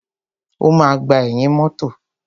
O máa gbà ẹ̀yìn mọ́tọ̀.